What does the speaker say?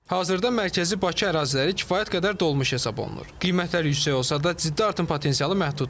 Hazırda mərkəzi Bakı əraziləri kifayət qədər dolmuş hesab olunur, qiymətlər yüksək olsa da, ciddi artım potensialı məhduddur.